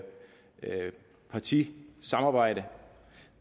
partis samarbejde